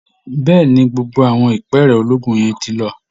Bẹ́ẹ̀ ni, gbogbo àwọn ìpẹ́ẹ̀rẹ̀ ológun yẹn ti lọ